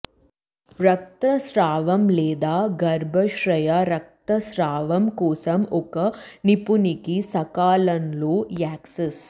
రక్తస్రావం లేదా గర్భాశయ రక్తస్రావం కోసం ఒక నిపుణునికి సకాలంలో యాక్సెస్